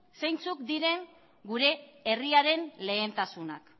zeintzuk diren gure herriaren lehentasunak